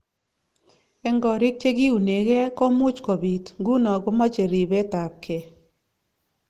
Eng korik chekiunegee komuch kibut ,nguno komache ribet ab gee